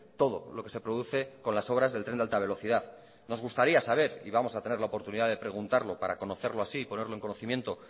todo lo que se produce con las obras del tren de alta velocidad nos gustaría saber y vamos a tener la oportunidad de preguntarlo para conocerlo así y ponerlo en conocimiento